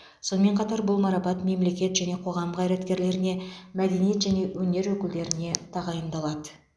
сонымен қатар бұл марапат мемлекет және қоғам қайраткерлеріне мәденеиет және өнер өкілдеріне тағайындалады